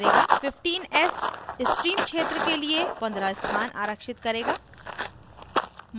15s stream क्षेत्र के लिए 15s स्थान आरक्षित करेगा